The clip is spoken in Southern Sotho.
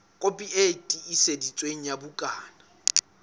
kopi e tiiseditsweng ya bukana